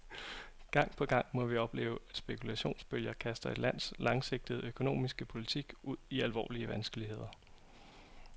Gang på gang må vi opleve, at spekulationsbølger kaster et lands langsigtede økonomiske politik ud i alvorlige vanskeligheder.